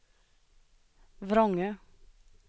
Vrångö